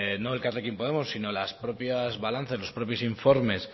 no elkarrekin podemos sino las propias balanzas los propios informes